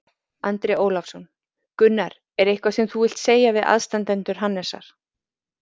Andri Ólafsson: Gunnar, er eitthvað sem þú vilt segja við aðstandendur Hannesar?